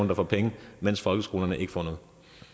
der får penge mens folkeskolerne ikke får